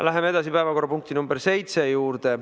Läheme edasi päevakorrapunkti nr 7 juurde.